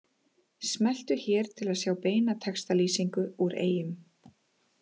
Smelltu hér til að sjá beina textalýsingu úr Eyjum